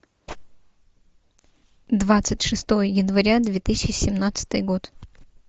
двадцать шестое января две тысячи семнадцатый год